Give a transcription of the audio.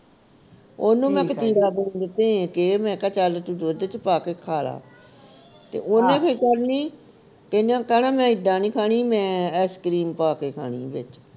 ਉਹਨੂੰ ਮੈਂ ਕਤੀਰਾ ਗੂੰਦ ਭੇ ਕੇ ਮਹਿ ਕਿਹਾ ਚੱਲ ਤੂੰ ਦੁੱਧ ਵਿਚ ਪਾ ਕੇ ਖਾ ਲਾ ਤੇ ਉਹਨੂੰ ਫਿਰ ਇਹਨਾਂ ਕਹਿਣਾ ਮੈਂ ਇੱਦਾਂ ਨੀ ਖਾਣੀ ਮੈਂ ice cream ਪਾ ਕੇ ਖਾਣੀ ਵਿਚ